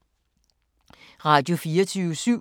Radio24syv